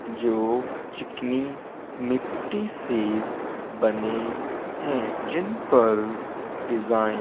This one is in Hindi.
जो चिकनी मिट्टी से बने है। जिन पर डिज़ाइन --